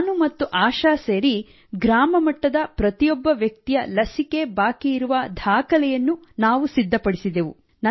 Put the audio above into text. ನಾನು ಮತ್ತು ಆಶಾ ಸೇರಿ ಗ್ರಾಮ ಮಟ್ಟದ ಪ್ರತಿಯೊಬ್ಬ ವ್ಯಕ್ತಿಯ ಲಸಿಕೆ ಬಾಕಿ ಇರುವ ದಾಖಲೆಯನ್ನು ಸಿದ್ಧಪಡಿಸಿದೆವು